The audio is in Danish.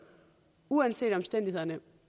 uanset omstændighederne